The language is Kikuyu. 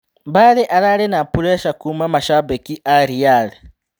Mbale ararĩ na bureca kuuma macambĩki a Riale.